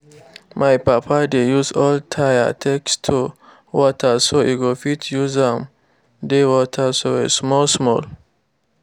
my papa dey use old tire take store water so e go fit use am dey water soil small small